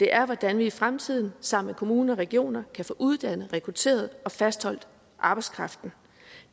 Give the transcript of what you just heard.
er hvordan vi i fremtiden sammen med kommuner og regioner kan få uddannet rekrutteret og fastholdt arbejdskraften